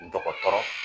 Dɔgɔtɔrɔ